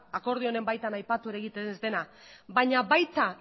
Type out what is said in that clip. akordioaren baitan aipatu ere egiten ez dena baina baita